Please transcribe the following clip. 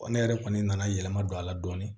Ne yɛrɛ kɔni nana yɛlɛma don a la dɔɔnin